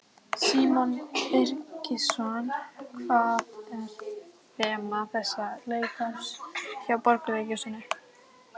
Símon Birgisson: Hvað er þema þessa leikárs hjá Borgarleikhúsinu?